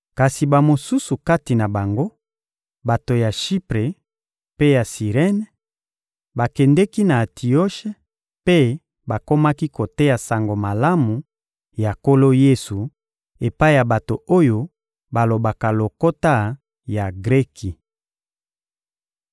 Kasi bamosusu kati na bango, bato ya Shipre mpe ya Sirene, bakendeki na Antioshe mpe bakomaki koteya Sango Malamu ya Nkolo Yesu epai ya bato oyo balobaka lokota ya Greki.